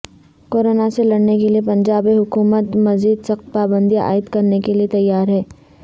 corona سے لڑنے کےلیے پنجاب حکومت مزید سخت پابندیاں عائد کرنے کے لئے تیار ہے